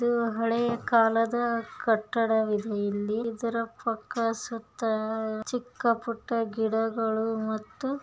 ಇದು ಹಳೆಯ ಕಾಲದ ಕಟ್ಟಡವಿದು ಇಲ್ಲಿ ಇದರ ಸುತ್ತ ಚಿಕ್ಕ-ಪುಟ್ಟ ಗಿಡಗಳು ಮತ್ತು--